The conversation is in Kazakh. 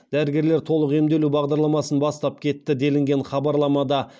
дәрігерлер толық емдеу бағдарламасын бастап кетті делінген хабарламада